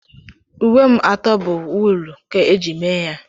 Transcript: Uwe m atọ bụ wuulu ka eji mee ya.